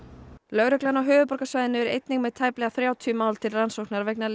lögreglan á höfuðborgarsvæðinu er einnig með tæplega þrjátíu mál til rannsóknar vegna